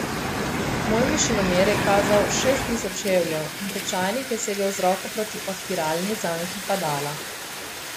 Moj višinomer je kazal šest tisoč čevljev in tečajnik je segel z roko proti odpiralni zanki padala.